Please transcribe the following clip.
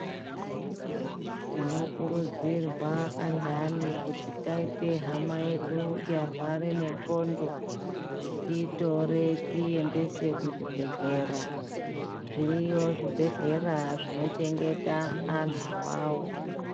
Tinokurudzirwa andani kuti taite hama yedu yarwara nendxondo tiitore tiiendese kuchibhedhlera zviriyo zvibhedhlera zvinochengeta anhu awawo.